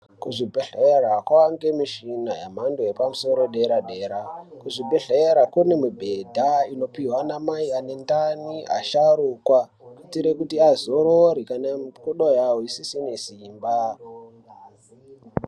Kuzvibhedhlera kwange mishina yemhando yepamusoro yedera dera, kuzvibhedhlera kune mibhedha inopihwe anamai anendani, asharukwa kuitire kuti azorore kana mikoda yawo isisine simba.